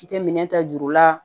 I tɛ minɛ ta juru la